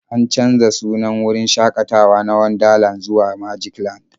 An canza sunan wurin shakatawa na Wonderland zuwa Magicland.